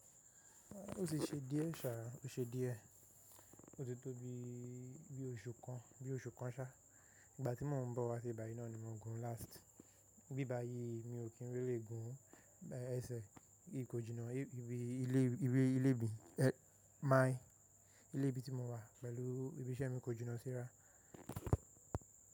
Ó ṣe díẹ̀ sá, ó ṣe díẹ̀. Ó ti tó bí i, bí i oṣù kan, bí i oṣù kan ṣá. Ìgbà tí mo ń bọ̀ wá sí ibà yìí náà ni mo gùn last. Bí i bayi mi ò kí n rí lè gùn ẹsẹ̀. N kò jìnnà ìbí ilé, ìwé ilé bí i, ẹ ma ìlú ẹbí tí mo wà pẹ̀lú ibiṣẹ́ mi kò jìnnà síra.